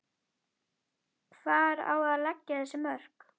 Hvar á að leggja þessi mörk?